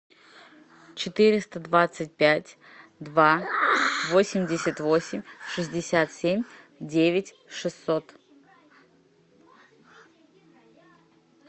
четыреста двадцать пять два восемьдесят восемь шестьдесят семь девять шестьсот